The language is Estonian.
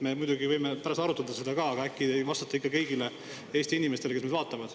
Me muidugi võime seda ka pärast arutada, aga äkki te vastate ikka kõigile Eesti inimestele, kes meid vaatavad.